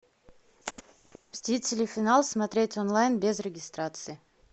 мстители финал смотреть онлайн без регистрации